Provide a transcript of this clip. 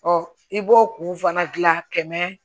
i b'o kun fana gilan kɛmɛ